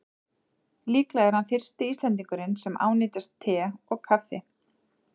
Líklega er hann fyrsti Íslendingurinn sem ánetjast te og kaffi.